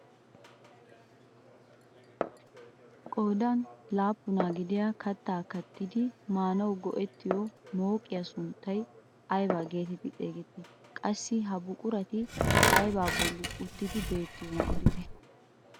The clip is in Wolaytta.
Qoodan laappunaa gidiyaa kaattaa kattidi maanawu go"ettiyoo mooqiyaa sunttay ayba getetti xeegettii? qassi ha buqurati aybaa bolli uttidi beettiyoonaa odite?